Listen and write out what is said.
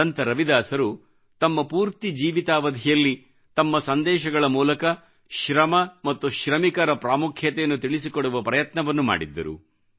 ಸಂತ ರವಿದಾಸರು ತಮ್ಮ ಪೂರ್ತಿ ಜೀವಿತಾವಧಿಯಲ್ಲಿ ತಮ್ಮ ಸಂದೇಶಗಳ ಮೂಲಕ ಶ್ರಮ ಮತ್ತು ಶ್ರಮಿಕರ ಪ್ರಾಮುಖ್ಯತೆಯನ್ನು ತಿಳಿಸಿಕೊಡುವ ಪ್ರಯತ್ನವನ್ನು ಮಾಡಿದ್ದರು